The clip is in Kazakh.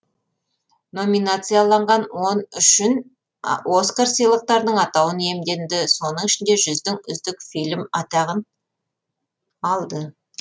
номинацияланған он үшін оскар сыйлықтарының атауын иемденді соның ішінде жылдың үздік фильм атағын алды